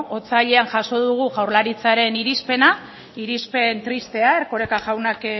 otsailean jaso dugu jaurlaritzaren irizpena irizpen tristea erkoreka jaunak